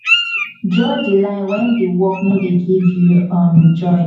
draw di line when di work no de give you um joy